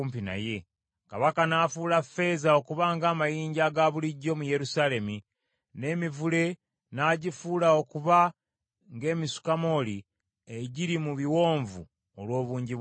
Kabaka n’afuula ffeeza okuba ng’amayinja aga bulijjo mu Yerusaalemi, n’emivule n’agifuula okuba ng’emisukamooli egiri mu biwonvu olw’obungi bwagyo.